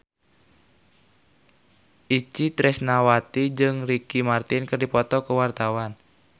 Itje Tresnawati jeung Ricky Martin keur dipoto ku wartawan